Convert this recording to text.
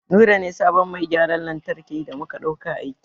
Nura ne sabon mai gyaran lantarki da muka ɗauka aiki.